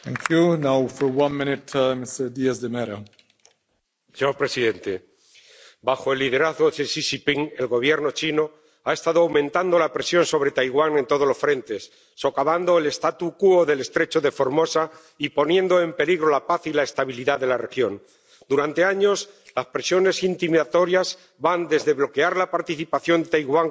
Señor presidente, bajo el liderazgo de Xi Jinping, el Gobierno chino ha estado aumentando la presión sobre Taiwán en todos los frentes, socavando el del estrecho de Formosa y poniendo en peligro la paz y la estabilidad de la región. Durante años las presiones intimidatorias van desde bloquear la participación de Taiwán como observador en organizaciones internacionales a la